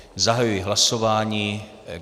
Zahajuji hlasování.